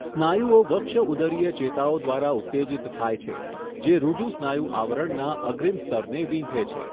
સ્નાયુઓ વક્ષઉદરીય ચેતાઓ દ્વારા ઉત્તેજિત થાય છે જે ઋજુસ્નાયુ આવરણના અગ્રિમ સ્તરને વીંધે છે.